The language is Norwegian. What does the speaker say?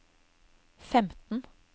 femten